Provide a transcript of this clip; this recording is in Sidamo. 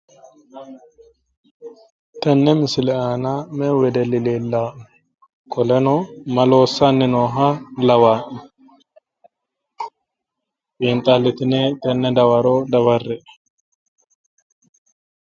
Tenne misile aana me'u wedelli leellawo? Qoleno ma loossanni nooha lawaa'ne ? Xiinxallitine tenne daworo dawarre'e.